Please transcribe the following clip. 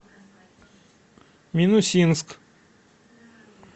минусинск